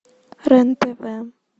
рен тв